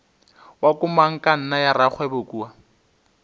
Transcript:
wa komangkanna ya rakgwebo kua